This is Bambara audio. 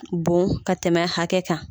Bon ka tɛmɛ hakɛ kan.